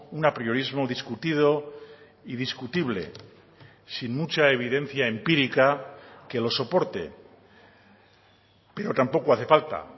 un apriorismo discutido y discutible sin mucha evidencia empírica que lo soporte pero tampoco hace falta